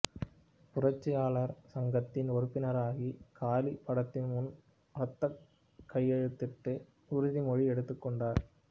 புரட்சியாளர் சங்கத்தில் உறுப்பினராகி காளி படத்தின் முன் ரத்தக் கையெழுத்திட்டு உறுதிமொழி எடுத்துக் கொண்டார்